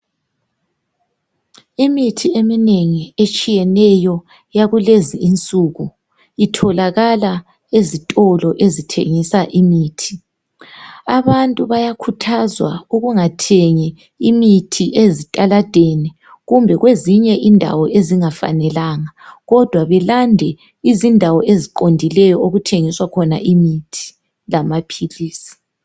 Imithi eminengi yakulezinsuku etshiyeneyo itholakala ezitolo ezitshengisa imithi. Abantu bayakhuthazwa ukuba bengathengi imithi ezitaladeni kumbe kwezinye indawo ezingafanelanga kodwa belande indawo eziqondileyo okuthengiswa khona imithi lamaphilisi.